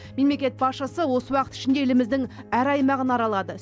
мемлекет басшысы осы уақыт ішінде еліміздің әр аймағын аралады